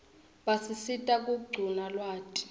basisita kuquna lwati